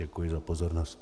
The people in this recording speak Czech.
Děkuji za pozornost.